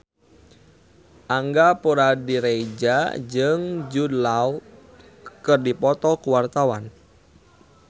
Angga Puradiredja jeung Jude Law keur dipoto ku wartawan